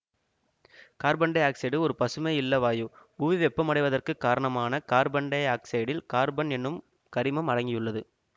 carbon dioxide ஒரு பசுமை இல்ல வாயு புவி வெப்பமடைவதற்கு காரணமான கார்பன் டை ஆக்சைடில் கார்பன் என்னும் கரிமம் அடங்கியுள்ளது